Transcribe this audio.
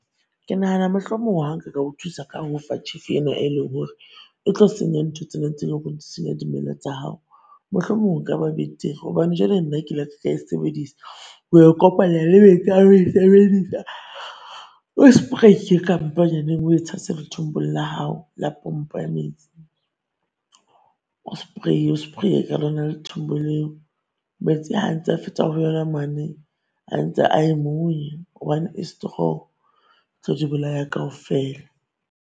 Ke nahana mohlomong ha nka ka o thusa ka ho fa chefo ena e leng hore e tlo senya ntho tsena tse leng hore di senya dimela tsa hao. Mohlomong ho ka ba betere hobane jwale nna ke ile ka e sebedisa o e kopanya le metse ha o e sebedisa o spray-e kamponyaneng o e tshatshe lethombong la pompo ya metse. O spray-e o spray-e ka lona lethombo leo. Meste ha antse a feta mane. Antse a Hobane e strong e tlo di bolaya kaofela.